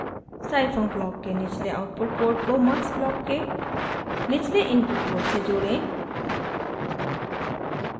scifunc block के निचले output port को mux ब्लॉक के निचले इनपुट पोर्ट से जोड़ें